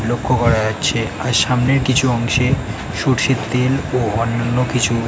লক্ষ্য করা যাচ্ছে আর সামনের কিছু অংশে সরষের তেল ও অন্যান্য কিছু --